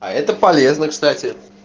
а это полезно кстати